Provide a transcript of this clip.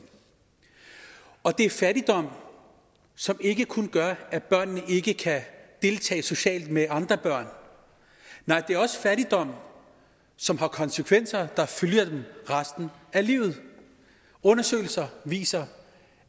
og det er fattigdom som ikke kun gør at børnene ikke kan deltage socialt med andre børn nej det er også fattigdom som har konsekvenser der følger dem resten af livet undersøgelser viser